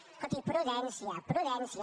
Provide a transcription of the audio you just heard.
escolti prudència prudència